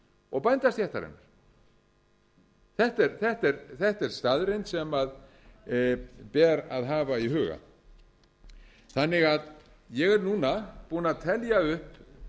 og bændastéttarinnar þetta er staðreynd sem ber að hafa í huga ég er núna búinn að telja upp